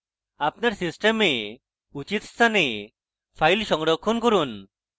আপনার system উচিত স্থানে files সংরক্ষণ করুন